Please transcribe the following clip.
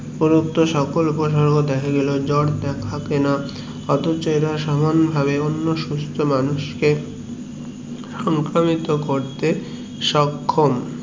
সকল উপসর্গ দেখা গেলেও জোর থাকে না অথচ ের সমান ভাবে অন্য সুস্থ মানুষ কে সংক্রামিত করতে সক্ষম